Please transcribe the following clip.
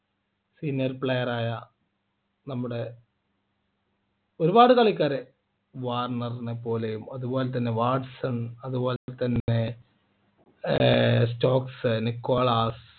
Seniors player ആയ നമ്മുടെ ഒരുപാട് കളിക്കാരെ വാർണർ നെപ്പോലെയും അതുപോലെതന്നെ വാട്സൺ അതുപോലെതന്നെ ഏർ സ്റ്റോക്‌സ് നിക്കോളാസ്